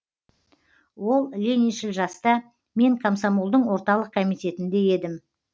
ол лениншіл жаста мен комсомолдың орталық комитетінде едім